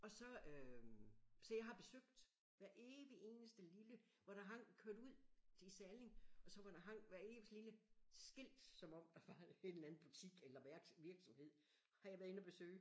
Og så øh så jeg har besøgt hver evig eneste lille hvor der hang kørt ud til Salling og så hvor der hang hvert eneste lille skilt som om der var en eller anden butik eller værts virksomhed har jeg været inde og besøge